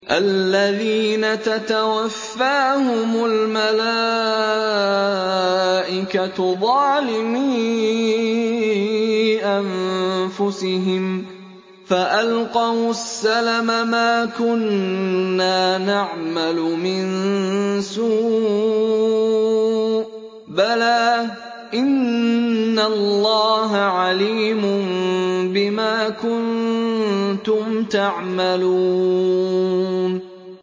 الَّذِينَ تَتَوَفَّاهُمُ الْمَلَائِكَةُ ظَالِمِي أَنفُسِهِمْ ۖ فَأَلْقَوُا السَّلَمَ مَا كُنَّا نَعْمَلُ مِن سُوءٍ ۚ بَلَىٰ إِنَّ اللَّهَ عَلِيمٌ بِمَا كُنتُمْ تَعْمَلُونَ